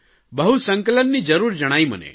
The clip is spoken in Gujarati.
બહુ સંકલનની જરૂર જણાઇ મને